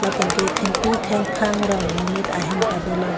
penke thengpi thengphang rong monit ahem ta dolo.